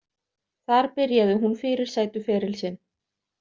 Þar byrjaði hún fyrirsætu feril sinn.